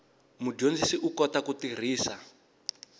mudyondzi u kota ku tirhisa